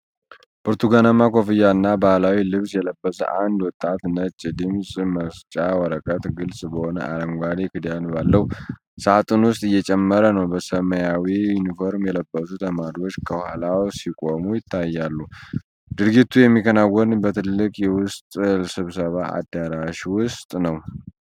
ብርቱካናማ ኮፍያና ባህላዊ ልብስ የለበሰ አንድ ወጣት ነጭ ድምፅ መስጫ ወረቀት ግልጽ በሆነ የአረንጓዴ ክዳን ባለው ሣጥን ውስጥ እየጨመረ ነው። በሰማያዊ ዩኒፎርም የለበሱ ተማሪዎች ከኋላ ሲቆሙ ይታያሉ። ድርጊቱ የሚከናወነው በትልቅ የውስጥ ስብሰባ አዳራሽ ውስጥ ነው።